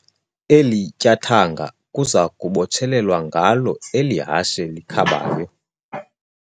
Eli tyathanga kuza kubotshelelwa ngalo eli hashe likhabayo.